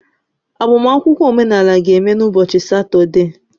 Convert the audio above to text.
agbamakwụkwọ omenala ga-eme n'ụbọchị Satọde a